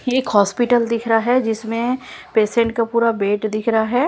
ये एक हॉस्पिटल दिख रहा है जिसमें पेशेंट का पूरा बेड दिख रहा है।